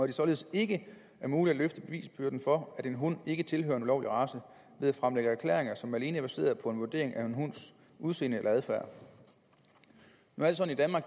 det således ikke er muligt at løfte bevisbyrden for at en hund ikke tilhører en ulovlig race ved at fremlægge erklæringer som alene er baseret på en vurdering af en hunds udseende eller adfærd nu